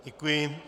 Děkuji.